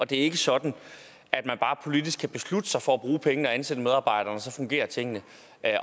det er ikke sådan at man bare politisk kan beslutte sig for at bruge pengene og ansætte medarbejderne og så fungerer tingene